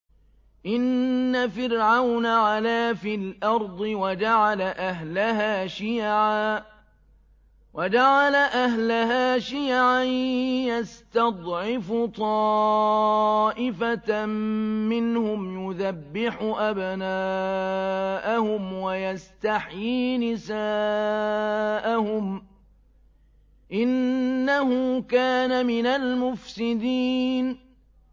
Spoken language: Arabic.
إِنَّ فِرْعَوْنَ عَلَا فِي الْأَرْضِ وَجَعَلَ أَهْلَهَا شِيَعًا يَسْتَضْعِفُ طَائِفَةً مِّنْهُمْ يُذَبِّحُ أَبْنَاءَهُمْ وَيَسْتَحْيِي نِسَاءَهُمْ ۚ إِنَّهُ كَانَ مِنَ الْمُفْسِدِينَ